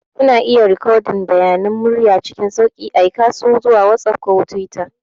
Kuna iya rikodin bayanan murya cikin sauƙi, aika su zuwa WhatsApp ko Twitter.